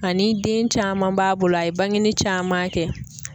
Ani den caman b'a bolo a ye bangeni caman kɛ.